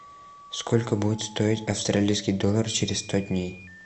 сколько будет стоить австралийский доллар через сто дней